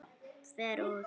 Fer út.